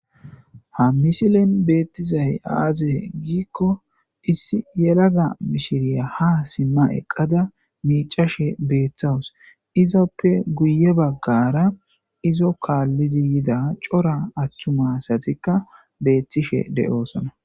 ha mishilin beettizay aaze giikko issi yelaga mishiriya ha simma eqqada miicashe beeththawus izappe guye baggara izo kaallizi yida cora aththuma satikka beettishe de'oosona.